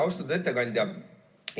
Austatud ettekandja!